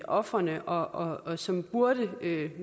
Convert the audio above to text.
ofrene og og som burde